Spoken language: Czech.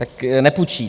Tak nepůjčí.